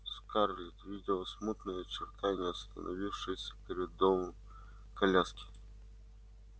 скарлетт видела смутные очертания остановившейся перед домом коляски